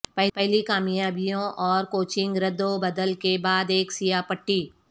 پہلی کامیابیوں اور کوچنگ رد و بدل کے بعد ایک سیاہ پٹی